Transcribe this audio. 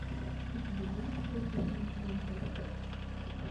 у тебя будет шоу гудини сезон пять